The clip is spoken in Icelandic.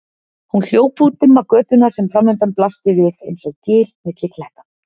Hún hljóp út dimma götuna sem framundan blasti við einsog gil milli kletta.